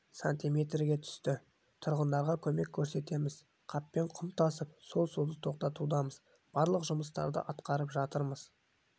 сантиметрге түсті тұрғындарға көмек көрсетеміз қаппен құм тасып сол суды тоқтатудамыз барлық жұмыстарды атқарып жатырмыз